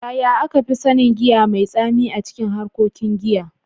Yaya aka fi sanin giya mai tsami a cikin harkokin giya?